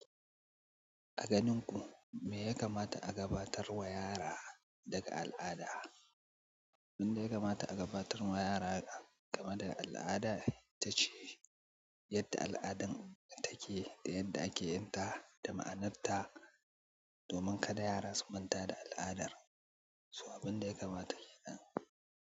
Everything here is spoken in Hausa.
A ganin ku me ya kamata a gabatar wa yara daga al'ada? Abin da ya kamata a gabatar wa yara game da al'ada ita ce yadda al'adan take da yadda ake yin ta da ma'anarta, domin kada yara su manta da al'adar. So abin da ya kamata kenan.